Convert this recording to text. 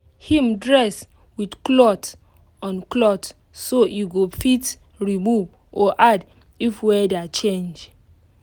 him dress with cloth on cloth so e go fit remove or add if weather change